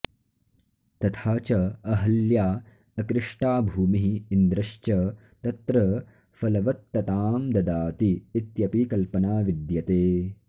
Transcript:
तथा च अहल्या अकृष्टा भूमिः इन्द्रश्च तत्र फलवत्ततां ददाति इत्यपि कल्पना विद्यते